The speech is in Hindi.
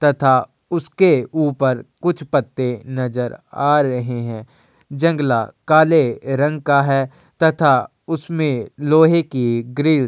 तथा उसके ऊपर कुछ पत्ते नजर आ रहे हैं। जंगला काले रंग का है तथा उसमें लोहे की ग्रिल --